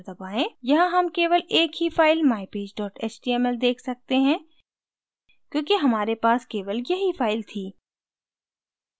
यहाँ हम केवल एक ही file mypage html देख सकते हैं क्योंकि हमारे पास केवल यही file थी